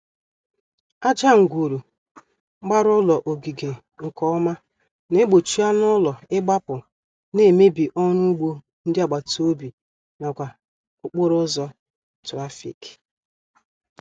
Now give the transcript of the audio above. Aja ngwuru gbara ụlọ ogige nkeọma na-gbochi anụụlọ ịgbapụ na-emebi ọrụugbo ndị agbataobi n'akwa okporoụzọ trafik